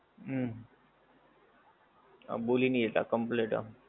હમ હા બોલે નહીં એતા complete આમ